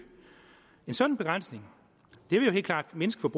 en sådan begrænsning vil jo helt klart mindske